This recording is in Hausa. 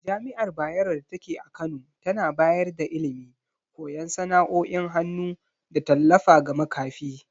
Jami’ar Bayero datake a Kano tana bayar da ilimi, koyan sana’o’in hannu, da tallafa ga makafi.